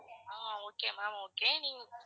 ah okay ma'am okay